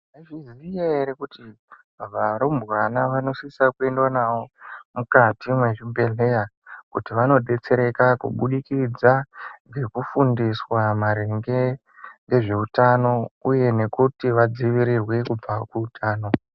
Maizviziva here kuti varumbwana vanosisa kuendwa navo mukati mwezvibhedhleya kuti vanodetsereka kubudikidza ngokufundiswa maringe ngezveutano uye nekuti vadziirirwe kubva kuutano.